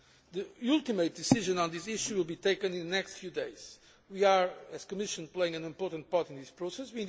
of Finance. The ultimate decision on this issue will be taken in the next few days. We are, as a Commission, playing an important part in